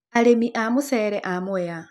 Arĩmi a mũcere a mwea.